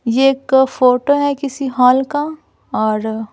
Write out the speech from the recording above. ये एक फोटो है किसी हॉल का और--